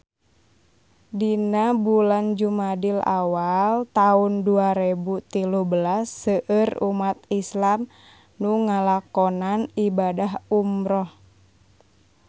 Dina bulan Jumadil awal taun dua rebu tilu belas seueur umat islam nu ngalakonan ibadah umrah